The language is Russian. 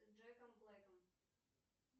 с джеком блэком